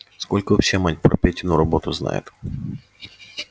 сколько вообще мать про петину работу знает